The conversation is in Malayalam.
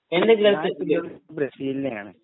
ഞാന് ബ്രേസിലിനെയാണ്